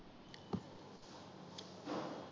हो